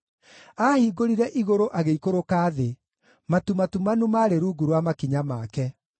Aahingũrire igũrũ agĩikũrũka thĩ; matu matumanu maarĩ rungu rwa makinya make.